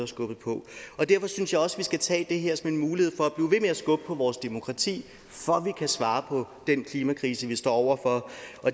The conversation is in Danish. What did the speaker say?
skubbet på derfor synes jeg også vi skal tage det her som en mulighed for at skubbe på vores demokrati for at vi kan svare på den klimakrise vi står over for